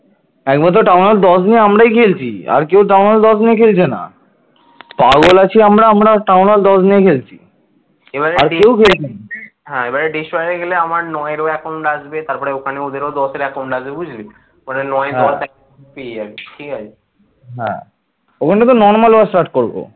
ওখানে তো কিন্তু normal war start করব